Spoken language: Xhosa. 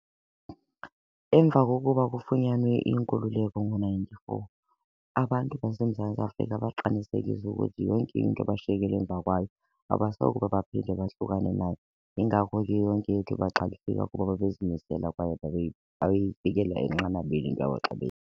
Emva kokuba kufunyanwe inkululeko ngo-ninety-four abantu baseMzantsi Afrika baqinisekisa ukuthi yonke into abashiyekele emva kwayo abasokube baphinde bahlukane nayo. Yingako ke yonke into kuba babezimisela kwaye babeyifikela enqanabeni into yabo xa .